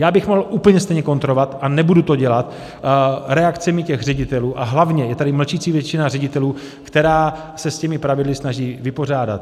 Já bych mohl úplně stejně kontrovat, a nebudu to dělat, reakcemi těch ředitelů, a hlavně je tady mlčící většina ředitelů, která se s těmi pravidly snaží vypořádat.